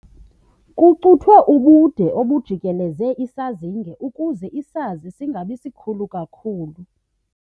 Kucuthwe ubude obujikeleze isazinge ukuze isiza singabi sikhulu kakhulu.